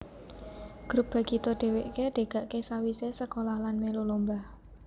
Grup Bagito dheweke degake sawisé sekolah lan mèlu lomba